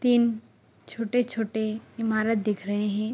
तीन छोटे-छोटे ईमारत दिख रहे हैं।